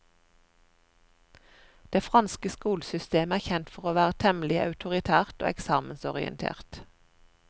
Det franske skolesystemet er kjent for å være temmelig autoritært og eksamensorientert.